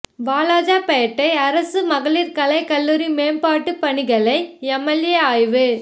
வாலாஜாபேட்டை அரசு மகளிா் கலைக் கல்லூரி மேம்பாட்டுப் பணிகளை எம்எல்ஏ ஆய்வு